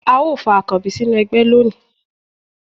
a o fa akanbí sinú ẹgbẹ loní